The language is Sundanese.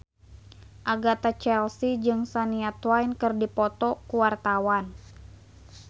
Agatha Chelsea jeung Shania Twain keur dipoto ku wartawan